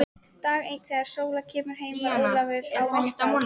Dag einn þegar Sóla kemur heim er Ólafur ávenju fár.